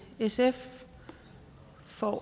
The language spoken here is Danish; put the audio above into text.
sf for